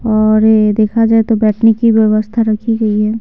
और ये देखा जाए तो बैठने की व्यवस्था रखी गई है।